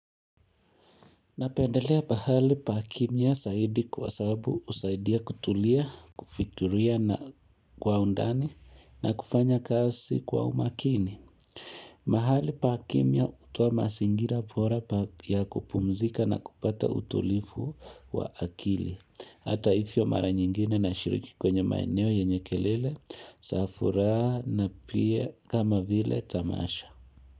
Napendelea pahali pa kimya zaidi kwa sababu usaidia kutulia, kufikiria na kwa undani na kufanya kazi kwa umakini. Mahali paa kimia utoa mazingira bora ya kupumzika na kupata utulifu wa akili. Hata hivyo mara nyingine nashiriki kwenye maeneo yenye kelele, zafuraha na pia kama vile tamasha.